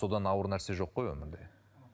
содан ауыр нәрсе жоқ қой өмірде